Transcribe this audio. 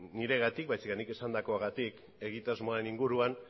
niregatik baizik eta nik esandakoagatik egitasmoaren inguruan